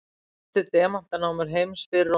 helstu demantanámur heims fyrr og nú